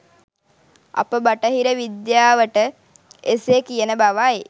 අප බටහිර විද්‍යාවට එසේ කියන බවයි